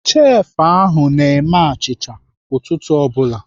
Chefụ ahụ na-eme achịcha ụtụtụ ọ bụla.